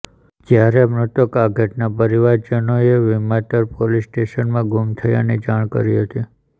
જ્યારે મૃતક આધેડના પરિજનોએ વિમાતર પોલીસ સ્ટેશનમાં ગુમ થયાની જાણ કરી હતી